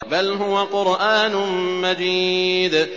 بَلْ هُوَ قُرْآنٌ مَّجِيدٌ